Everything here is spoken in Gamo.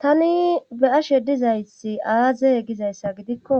tani be ashe dizaysi aaze gizayssa gidikko